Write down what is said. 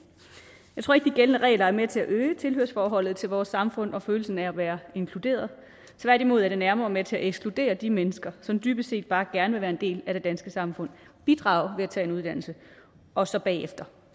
jeg tror ikke de gældende regler er med til at øge tilhørsforholdet til vores samfund og følelse af at være inkluderet tværtimod er de nærmere med til at ekskludere de mennesker som dybest set bare gerne vil være en del af det danske samfund bidrage ved at tage en uddannelse og så bagefter